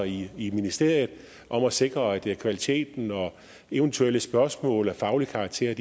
i i ministeriet om at sikre kvaliteten og at eventuelle spørgsmål af faglig karakter